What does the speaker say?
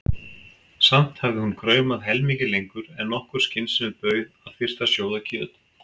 Samt hafði hún kraumað helmingi lengur en nokkur skynsemi bauð að þyrfti að sjóða kjöt.